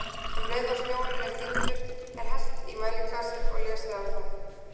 Um leið og snjórinn er þíddur, er hellt í mæliglasið og lesið á það.